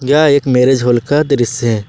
यह एक marriage hall का दृसय है।